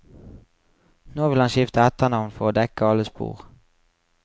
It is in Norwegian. Nå vil han skifte etternavn for å dekke alle spor.